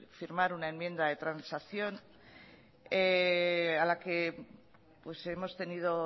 firmar una enmienda de transacción a la que hemos tenido